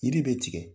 Yiri bɛ tigɛ